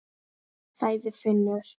sagði Finnur.